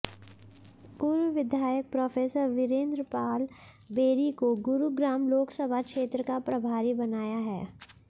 पूर्व विधायक प्रो़ वीरेंद्र पाल बेरी को गुरुग्राम लोकसभा क्षेत्र का प्रभारी बनाया है